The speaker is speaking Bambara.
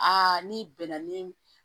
Aa n'i bɛnna ni